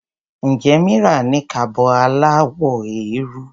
Ǹjẹ́ Mira ní kaba aláwọ̀ eérú?